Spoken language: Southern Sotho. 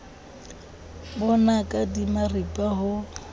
bo naka di maripa ho